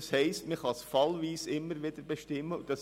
Das bedeutet, dass sie fallweise immer wieder bestimmt wird.